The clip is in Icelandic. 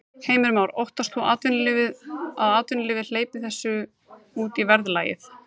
Heimir Már: Óttast þú að atvinnulífið hleypir þessu út í verðlagið?